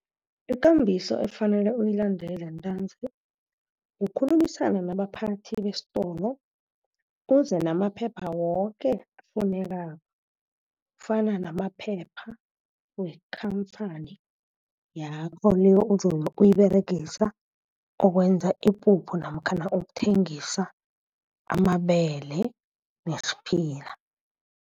Ikambiso efanele uyilandele ntanzi. Kukhulumisana nabaphathi besitolo. Uze namaphepha woke afunekako. Kufana namaphepha wekhampani yakho, le ozabe uyiberegisa ukwenza ipuphu namkha ukuthengisa amabele nesiphila.